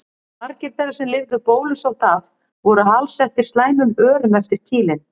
Margir þeirra sem lifðu bólusótt af voru alsettir slæmum örum eftir kýlin.